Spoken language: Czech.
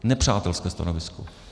Nepřátelské stanovisko.